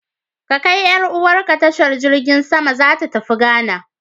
Ka kai 'yar'uwarka tashar jirgin sama, tana tafiya Ghana.